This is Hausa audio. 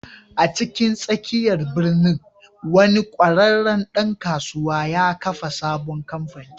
A cikin tsakiyar birnin, wani ƙwararren ɗan kasuwa ya kafa sabon kamfani.